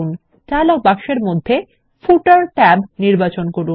dialogue বক্সের মধ্যে footer tab নির্বাচন করুন